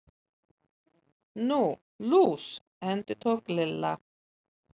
Nú, lús. endurtók Lilla.